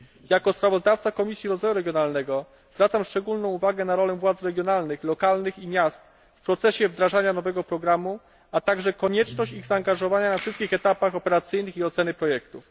Jako sprawozdawca Komisji Rozwoju Regionalnego zwracam szczególną uwagę na rolę władz regionalnych, lokalnych i miast w procesie wdrażania nowego programu, a także konieczność ich zaangażowania na wszystkich etapach operacyjnych i oceny projektów.